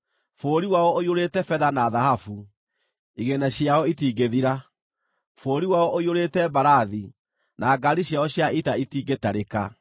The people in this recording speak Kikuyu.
Bũrũri wao ũiyũrĩte betha na thahabu, igĩĩna ciao itingĩthira. Bũrũri wao ũiyũrĩte mbarathi; na ngaari ciao cia ita itingĩtarĩka.